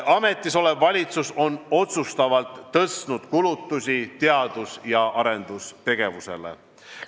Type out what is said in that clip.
Ametisolev valitsus on otsustavalt tõstnud kulutusi teadus- ja arendustegevusele.